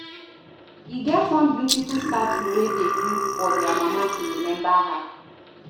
E get one beautify statue wey dey build for their mama to remember her